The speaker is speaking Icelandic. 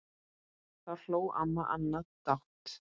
Þá hló amma Anna dátt.